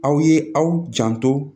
Aw ye aw janto